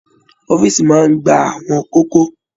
Ọ̀fiísí máa n gbà àwọn kókó.